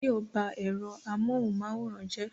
Báyọ̀ ba ẹ̀rọ amóhunmáwòrán jẹ́